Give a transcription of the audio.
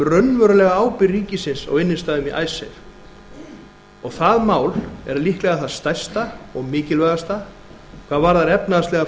raunverulega ábyrgð ríkisins á innstæðum í icesave og það mál er líklega það stærsta og mikilvægasta hvað varðar efnahagslega